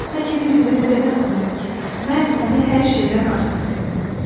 Təki bir-birinə deməsinlər ki, mən səni hər şeydən artıq sevirəm.